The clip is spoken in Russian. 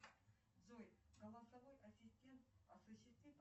денежный перевод на сумму пять тысяч рублей моей маме